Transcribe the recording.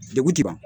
Degun ti ban